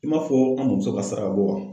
I m'a fɔ an muso ka saraka bɔ wa ?